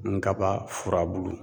Nkaba furabulu